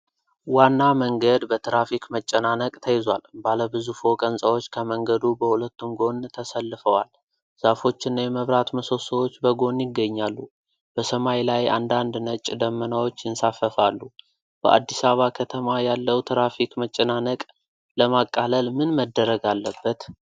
ዋና መንገድ በትራፊክ መጨናነቅ ተይዟል። ባለ ብዙ ፎቅ ሕንፃዎች ከመንገዱ በሁለቱም ጎን ተሰልፈዋል። ዛፎችና የመብራት ምሰሶዎች በጎን ይገኛሉ። በሰማይ ላይ አንዳንድ ነጭ ደመናዎች ይንሳፈፋሉ። በአዲስ አበባ ከተማ ያለው ትራፊክ መጨናነቅ ለማቃለል ምን መደረግ አለበት?